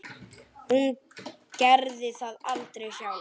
Hún gerði það aldrei sjálf.